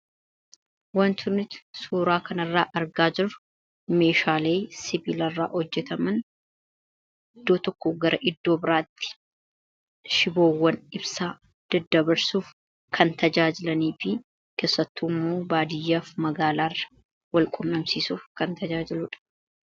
wanti nuti suuraa kanarraa argaa jiru meeshaalee sibilarraa hojjetaman iddoo tokko gara iddoo biraatti shiboowwan ibsaa deddabarsuuf kan tajaajilanii fi keessattuummoo baadiyyaaf magaalaarra wal qunnamsiisuuf kan tajaajiluudha.